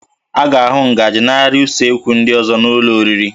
A ga-ahụ ngaji na arịa usekwu ndị ọzọ n'ụlọ oriri